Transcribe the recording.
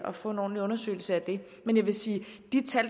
at få en ordentlig undersøgelse af det men jeg vil sige